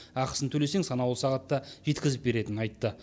ақысын төлесең санаулы сағатта жеткізіп беретінін айтты